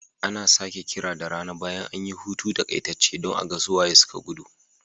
Ana sake kira da rana bayan an yi hutu takaitacce don a ga su waye suka gudu.